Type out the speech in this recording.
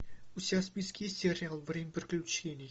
у тебя в списке есть сериал время приключений